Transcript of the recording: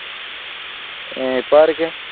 ഇപ്പൊ ആരൊക്കെയാണ്?